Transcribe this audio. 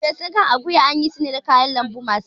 Ferfesun kan akuya ana yin shi ne da kayan lambu masu ɗaci